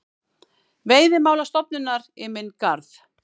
Veiðimálastofnunar í minn garð.